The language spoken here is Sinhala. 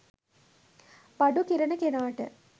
බඩු කිරන කෙනාට